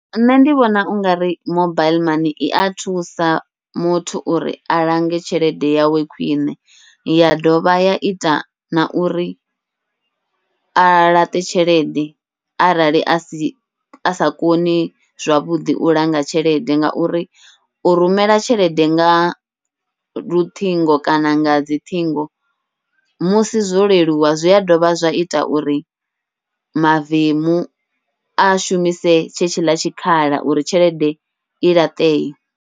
Nṋe ndi vhona ungari mobaiḽi mani ia thusa muthu uri a lange tshelede yawe khwiṋe, ya dovha ya ita na uri a laṱe tshelede arali asi asa koni zwavhuḓi u langa tshelede, ngauri u rumela tshelede nga luṱhingo kana nga dziṱhingo musi zwo leluwa zwi a dovha zwa ita uri mavemu a shumise tshe tshiḽa tshikhala uri tshelede i laṱee.